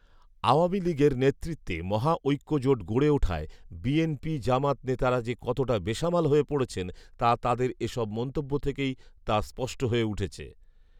আওয়ামী লীগের নেতৃত্বে মহাঐক্যজোট গড়ে ওঠায় বিএনপি জামাত নেতারা যে কতোটা বেসামাল হয়ে পড়েছেন, তা তাঁদের এ সব মন্তব্য থেকেই তা স্পষ্ট হয়ে উঠেছে